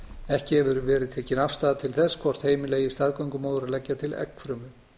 ekki hefur verið tekin afstaða til þess hvort heimila eigi staðgöngumóður að leggja til eggfrumu